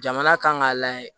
Jamana kan k'a layɛ